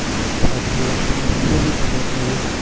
સાચી વાત છે મને બી બહુ ગમે છે